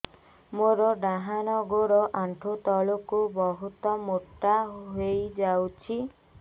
ମୋର ଡାହାଣ ଗୋଡ଼ ଆଣ୍ଠୁ ତଳକୁ ବହୁତ ମୋଟା ହେଇଯାଉଛି